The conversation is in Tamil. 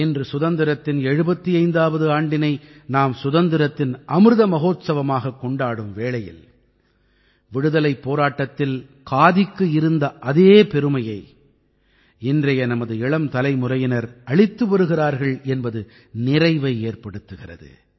இன்று சுதந்திரத்தின் 75ஆவது ஆண்டினை நாம் சுதந்திரத்தின் அமிர்த மஹோத்சவமாகக் கொண்டாடும் வேளையில் விடுதலைப் போராட்டத்தில் காதிக்கு இருந்த அதே பெருமையை இன்றைய நமது இளம் தலைமுறையினர் அளித்து வருகிறார்கள் என்பது நிறைவை ஏற்படுத்துகிறது